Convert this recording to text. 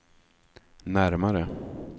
närmare